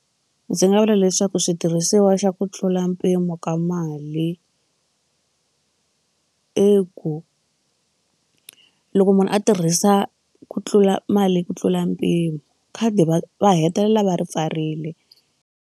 Ndzi nga vula leswaku switirhisiwa xa ku tlula mpimo ka mali i ku loko munhu a tirhisa ku tlula mali ku tlula mpimo khadi va va hetelela va ri pfarile.